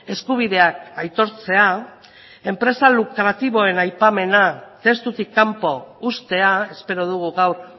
eskubideak aitortzea enpresa lukratiboen aipamena testutik kanpo uztea espero dugu gaur